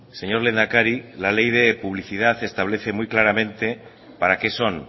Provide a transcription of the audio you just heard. señor lehendakari la ley de publicidad establece muy claramente para qué son